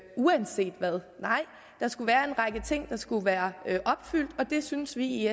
uanset hvad nej der skulle være en række ting der skulle være opfyldt og det synes vi i